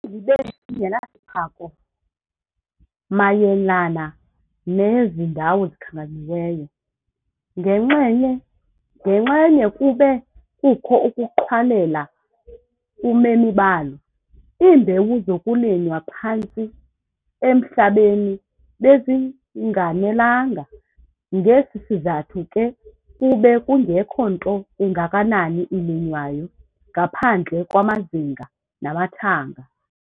Nakubeni libe lingenasiphako mayelana nezi ndawo zikhankanyiweyo, ngenxenye kube kukho ukuqhwalela kumemi balo. Iimbewu zokulinywa phantsi emhlabeni bezinganelanga. Ngesi sizathu ke kube kungekho nto ingakanani ilinywayo, ngaphandle kwamazinga namathanga.